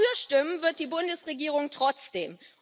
Dafür stimmen wird die Bundesregierung trotzdem.